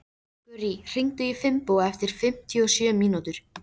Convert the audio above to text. Gurrí, hringdu í Finnbogu eftir fimmtíu og sjö mínútur.